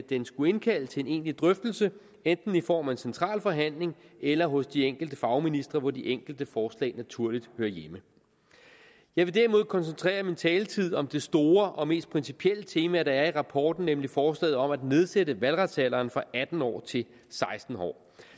den skulle indkalde til en egentlig drøftelse enten i form af en central forhandling eller hos de enkelte fagministre hvor de enkelte forslag naturligt hører hjemme jeg vil derimod koncentrere min taletid om det store og mest principielle tema der er i rapporten nemlig forslaget om at nedsætte valgretsalderen fra atten år til seksten år